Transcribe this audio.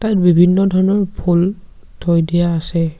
ইয়াত বিভিন্ন ধৰণৰ ফুল থৈ দিয়া আছে।